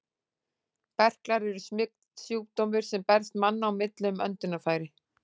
Berklar eru smitsjúkdómur, sem berst manna á milli um öndunarfæri.